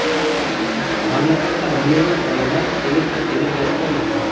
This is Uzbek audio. mamlakatda millionlab odamlar elektr energiyasiz qolmoqda.